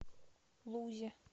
лузе